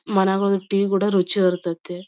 ಮನೆಗಳಲ್ಲಿ ಟೀ ಕೂಡ ರುಚಿಯಾಗಿ ಇರುತೈತೆ.